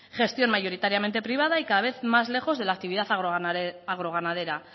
gestión mayoritariamente privada y cada vez más lejos de la actividad agroganadera